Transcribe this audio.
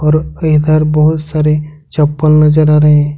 Drupe के इधर बहुत सारे चप्पल नजर आ रहे है।